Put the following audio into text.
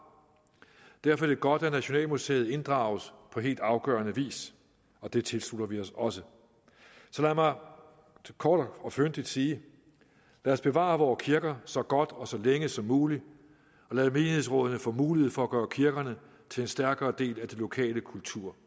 derfor er det godt at nationalmuseet inddrages på helt afgørende vis og det tilslutter vi os også lad mig kort og fyndigt sige lad os bevare vore kirker så godt og så længe som muligt og lad menighedsrådene få mulighed for at gøre kirkerne til en stærkere del af det lokale kultur